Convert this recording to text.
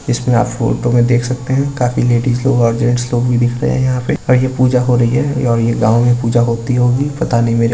इसमें आप फोटो में देख सकते हैं काफी लेडिस लोग और जेंट्स लोग भी दिख रहे हैं यहा पे और ये पूजा हो रही है और ये गांव में पूजा होती होगी पता नही मेरे को --